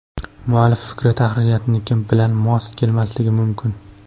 Muallif fikri tahririyatniki bilan mos kelmasligi mumkin.